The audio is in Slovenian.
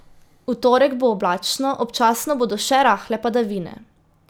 V torek bo oblačno, občasno bodo še rahle padavine.